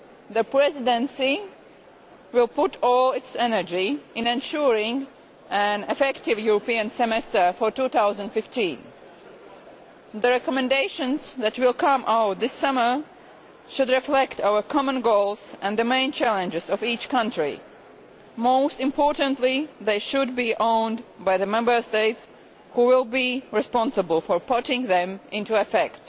The Presidency will put all its energy in ensuring an effective European Semester for 2015. The recommendations that will emerge this summer should reflect our common goals and the main challenges of each country. Most importantly, they should be owned' by the Member States, who will be responsible for putting them into effect.